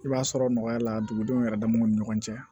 I b'a sɔrɔ nɔgɔya la dugudenw yɛrɛ damaw ni ɲɔgɔn cɛ